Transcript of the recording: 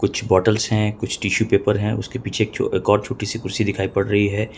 कुछ बॉटल्स है कुछ टिशू पेपर है उसके पीछे एक और छोटी सी कुर्सी दिखाई पड़ रही है।